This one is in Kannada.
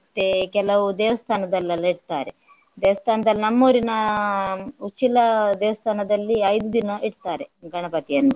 ಮತ್ತೆ ಕೆಲವು ದೇವಾಸ್ಥನದಲ್ಲೆಲ್ಲಾ ಇಡ್ತಾರೆ. ದೇವಸ್ಥಾನದಲ್ಲಿ ನಮ್ಮೂರಿನ ಉಚ್ಚಿಲ ದೇವಸ್ಥಾನದಲ್ಲಿ ಐದು ದಿನ ಇಡ್ತಾರೆ ಗಣಪತಿಯನ್ನು.